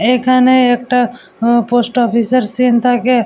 এইখানে একটা আহ পোস্ট অফিস -এর সিন্ থাকে।